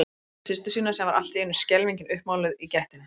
Horfði á systur sína sem var allt í einu skelfingin uppmáluð í gættinni.